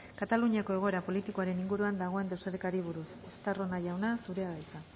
kataluniako egoera politikoaren inguruan dagoen desorekari buruz estarrona jauna zurea da hitza